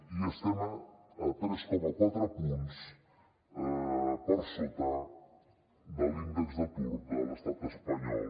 i estem tres coma quatre punts per sota de l’índex d’atur de l’estat espanyol